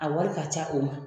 A wari ka ca o ma